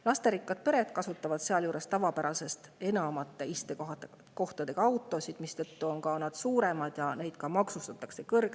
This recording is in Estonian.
Lasterikkad pered kasutavad sealjuures tavapärasest enamate istekohtadega autosid, mis on suuremad ja seetõttu kõrgemalt maksustatud.